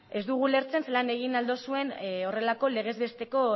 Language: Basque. ez dugu ulertzen zelan egin ahal duzuen horrelako legez besteko